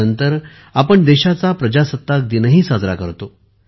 यानंतर आपण देशाचा प्रजासत्ताक दिनही साजरा करतो